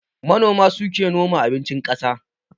Manoma suke noma abincin ƙasa